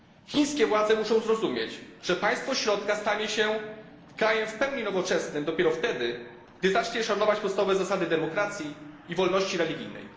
Chińskie władze muszą zrozumieć, że Państwo Środka stanie się krajem w pełni nowoczesnym dopiero wtedy, gdy zacznie szanować podstawowe zasady demokracji i wolności religijnej.